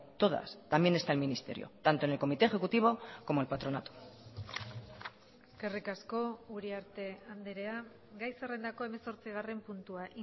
todas también está el ministerio tanto en el comité ejecutivo como el patronato eskerrik asko uriarte andrea gai zerrendako hemezortzigarren puntua